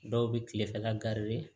Dɔw bɛ kilefɛla